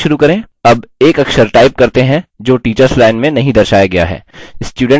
अब एक अक्षर type करते हैं जो teachers line में नहीं दर्शाया गया है